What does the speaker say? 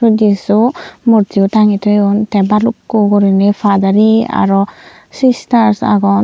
jissu murti bu tangge toyoun te balukku gorinay fathere aro sey sisters agon.